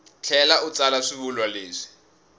tlhela u tsala swivulwa leswi